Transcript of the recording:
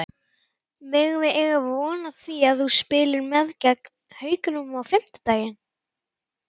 Megum við eiga von á því að þú spilir með gegn Haukum á fimmtudaginn?